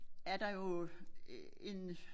Er der jo øh en